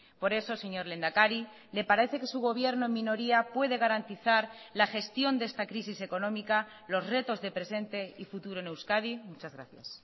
por eso señor lehendakari le parece que su gobierno en minoría puede garantizar la gestión de esta crisis económica los retos de presente y futuro en euskadi muchas gracias